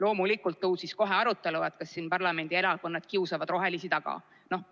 Muidugi tõusis kohe arutelu, kas parlamendierakonnad kiusavad rohelisi taga.